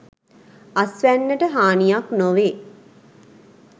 අස්වැන්නට හානියක් නොවේ.